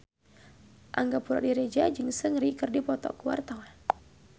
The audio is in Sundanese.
Angga Puradiredja jeung Seungri keur dipoto ku wartawan